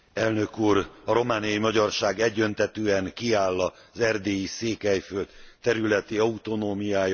A romániai magyarság egyöntetűen kiáll az erdélyi Székelyföld területi autonómiája mellett.